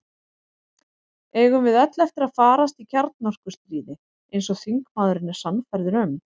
Eigum við öll eftir að farast í kjarnorkustríði, eins og þingmaðurinn er sannfærður um?